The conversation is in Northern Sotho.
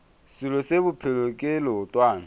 selo se bophelo ke leotwana